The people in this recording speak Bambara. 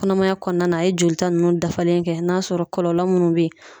Kɔnɔmaya kɔnɔna a ye jolita nunnu dafalen kɛ n'a sɔrɔ kɔlɔlɔ munnu be ye